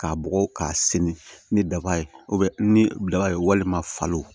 K'a bugɔ k'a senni ni daba ye ni daba ye walima falo